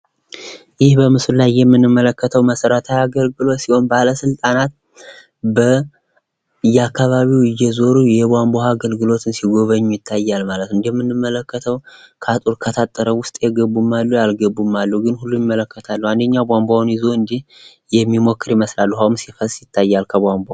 ይህ በምስሉ ላይ የምንመለከተው መሰረታዊ አገልግሎት ሲሆን ፤ ባለስልጣናት በየአከባቢዉ እየዞሩ የቧንቧ ውሃ አገልግሎትን እየጎበኙ ይታያሉ ማለት ነው። እንደምንመለከተው ከአጥሩ ዉስጥ የገቡም አሉ ያልገቡም አሉ ግን ሁሉም ይመለከታሉ ፤ አንድኛው ቧንቧውን ይዞ የሚሞክር ይመስላል፣ ውሃዉም ሲፈስ ይታያል።